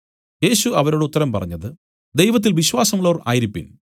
യേശു അവരോട് ഉത്തരം പറഞ്ഞത് ദൈവത്തിൽ വിശ്വാസമുള്ളവർ ആയിരിപ്പിൻ